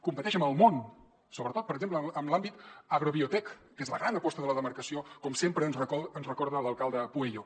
competeix amb el món sobretot per exemple en l’àmbit agrobiotec que és la gran aposta de la demarcació com sempre ens recorda l’alcalde pueyo